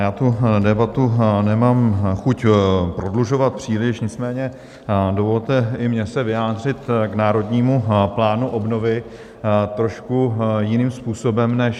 Já tu debatu nemám chuť prodlužovat příliš, nicméně dovolte i mně se vyjádřit k Národnímu plánu obnovy trošku jiným způsobem než...